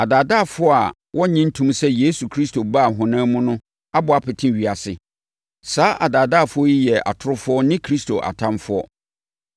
Adaadaafoɔ a wɔnnnye nntom sɛ Yesu Kristo baa ɔhonam mu no abɔ apete ewiase. Saa adaadaafoɔ yi yɛ atorofoɔ ne Kristo atamfoɔ.